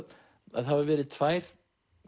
að það hafa verið tvær